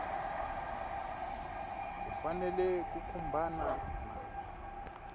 u fanele ku khumbana na